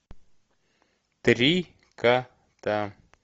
три кота